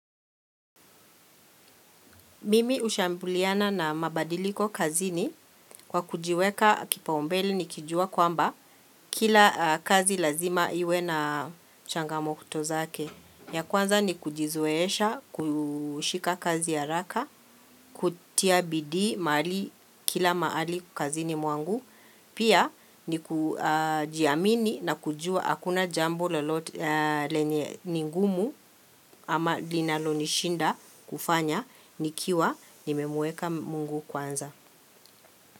Mimi hushambuliana na mabadiliko kazini kwa kujiweka kipaumbele nikijua kwamba kila kazi lazima iwe na changamoto zake. Ya kwanza ni kujizoesha, kushika kazi haraka, kutia bidii mahali kila mahali kazini mwangu. Pia ni kujiamini na kujua hakuna jambo lolote lenye ni ngumu ama linalonishinda kufanya nikiwa nimemweka mungu kwanza.